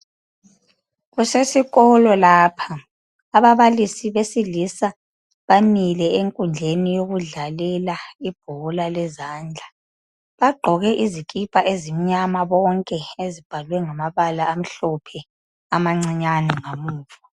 Kusesikolo lapha abablisi besilisa bamile enkundleni yokudlalela ibhola lezandla bagqoke izikipa ezimnyama bonke ezibhalwe ngamabala amhlophe ezincinyane emuva